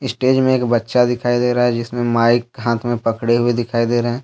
stage में एक बच्चा दिखाई दे रहा है जिसमें माइक हाथ में पकड़े हुए दिखाई दे रहा--